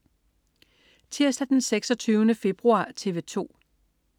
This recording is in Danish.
Tirsdag den 26. februar - TV 2: